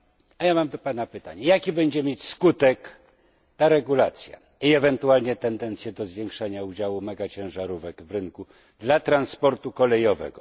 A ja mam do Pana pytanie jaki będzie mieć skutek ta regulacja i ewentualnie tendencje do zwiększania ciężaru megaciężarówek w rynku dla transportu kolejowego?